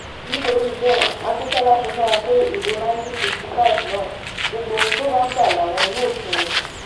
nítorí bẹ́ẹ̀ akintola ti múra pé ìbò nineteen sixty-five náà gbogbo ohun tó bá gbà làwọn yóò fún un